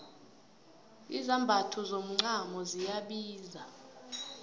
izambatho zomacamo ziyabiza